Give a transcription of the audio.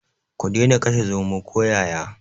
Ku dena kashe zomo ko yaya.